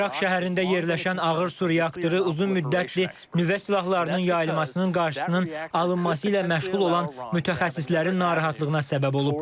Ərak şəhərində yerləşən ağır su reaktoru uzun müddətli nüvə silahlarının yayılmasının qarşısının alınması ilə məşğul olan mütəxəssislərin narahatlığına səbəb olub.